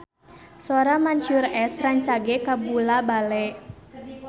Sora Mansyur S rancage kabula-bale